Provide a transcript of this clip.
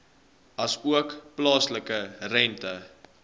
asook plaaslike rente